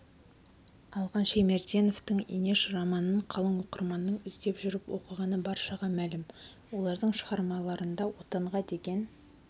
алған шаймерденовтің инеш романын қалың оқырманның іздеп жүріп оқығаны баршаға мәлім олардың шығармаларында отанға деген